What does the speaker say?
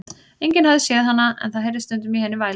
Enginn hafði séð hana, en það heyrðist stundum í henni vælið.